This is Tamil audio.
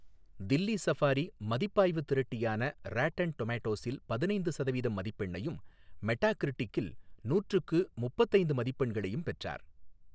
தில்லி சஃபாரி மதிப்பாய்வு திரட்டியான ராட்டன் டொமெட்டோஸில் பதினைந்து சதவீதம் மதிப்பெண்ணையும், மெட்டாகிரிட்டிக்கில் நூற்றுக்கு முப்பத்தி ஐந்து மதிப்பெண்களையும் பெற்றார்.